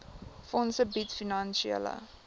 fonds bied finansiële